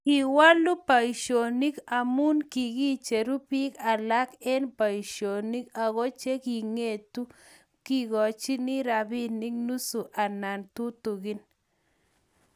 kiwolu boisionik amu kikicheru biik alak eng' boisionik aku che king'etu kikochini robinik nusu anan tutegen